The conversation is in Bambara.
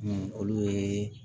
olu ye